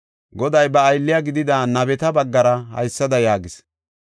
Goday ba aylle gidida nabeta baggara haysada yaagis;